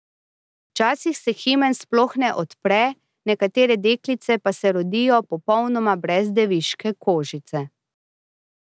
Včasih se himen sploh ne odpre, nekatere deklice pa se rodijo popolnoma brez deviške kožice.